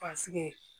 Paseke